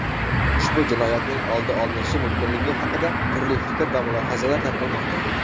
ushbu jinoyatning oldi olinishi mumkinligi haqida turli fikr va mulohazalar tarqalmoqda.